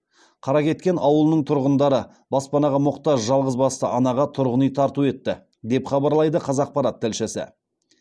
қаракеткен ауылының тұрғындары баспанаға мұқтаж жалғызбасты анаға тұрғын үй тарту етті деп хабарлайды қазақпарат тілшісі